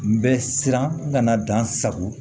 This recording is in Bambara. N bɛ siran n kana dan sago